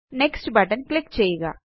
next button click ചെയ്യുക